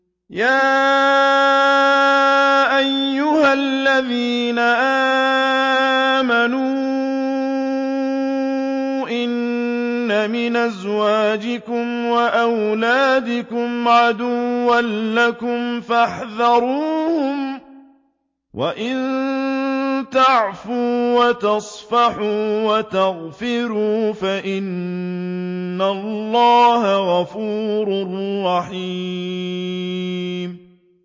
يَا أَيُّهَا الَّذِينَ آمَنُوا إِنَّ مِنْ أَزْوَاجِكُمْ وَأَوْلَادِكُمْ عَدُوًّا لَّكُمْ فَاحْذَرُوهُمْ ۚ وَإِن تَعْفُوا وَتَصْفَحُوا وَتَغْفِرُوا فَإِنَّ اللَّهَ غَفُورٌ رَّحِيمٌ